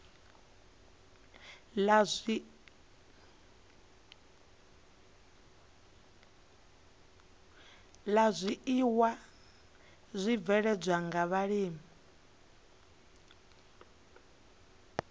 la zwiiwa zwibveledzwaho nga vhulimi